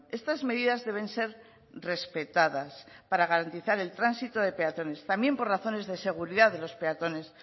estas medidas deben ser respetadas para garantizar el tránsito de peatones también por razones de seguridad de los peatones